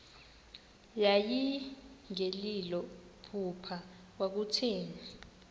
yayingelilo phupha kwakutheni